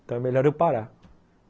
Então é melhor eu parar.